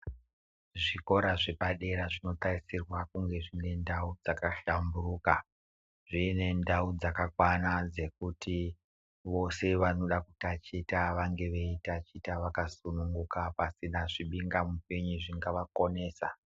Zvikora zvepadera zvinotarisirwa kunge zvinendau dzakahlamburuka dziine ndau dzakakwana dzekuti vose vanoda kutachita vange veitachita vakasununguka pasina zvimhinga mupinyi zvingavakonesa.